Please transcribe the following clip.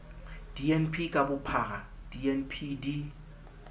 dnp ka bophara dnp di